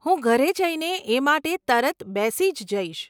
હું ઘરે જઈને એ માટે તરત બેસી જ જઈશ.